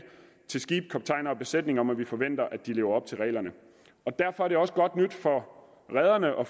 til skibsejere skibskaptajner og besætninger om at vi forventer at de lever op til reglerne derfor er det også godt nyt for rederne og